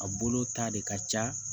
A bolo ta de ka ca